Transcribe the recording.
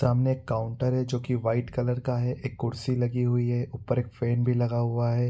सामने एक काउंटर है जो की व्हाइट कलर का है एक कुर्सी लगी हुई है ऊपर एक फेन भी लगा हुआ है।